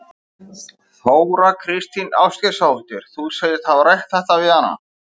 Þóra Kristín Ásgeirsdóttir: Þú segist hafa rætt þetta við hana?